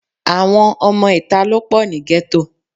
Àwọn ọmọ ìta ló pọ̀ ní gẹ́tò